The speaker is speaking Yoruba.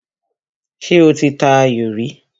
Ṣé o ti ta ayò rí?